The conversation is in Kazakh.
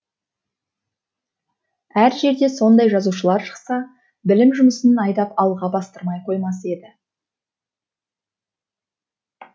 әр жерден сондай жазушылар шықса білім жұмысын айдап алға бастырмай қоймас еді